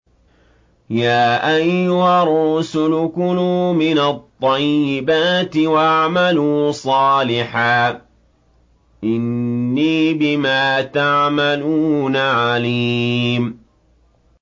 يَا أَيُّهَا الرُّسُلُ كُلُوا مِنَ الطَّيِّبَاتِ وَاعْمَلُوا صَالِحًا ۖ إِنِّي بِمَا تَعْمَلُونَ عَلِيمٌ